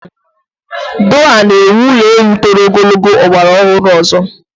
Doha na ewu ụlọelu toro ogologo ọgbara ọhụrụ ọzọ.